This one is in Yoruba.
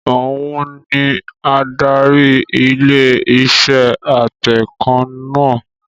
Òun ni adarí ilé iṣẹ́ atẹǹkan náà